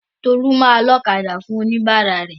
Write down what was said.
Tolú máa ọlọ́kadà fún oníbàárà rẹ̀.